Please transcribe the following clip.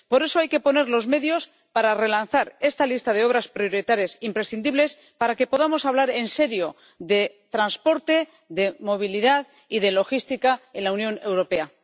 Por eso hay que poner los medios para relanzar esta lista de obras prioritarias imprescindibles, para que podamos hablar en serio de transporte, de movilidad y de logística en la Unión Europea.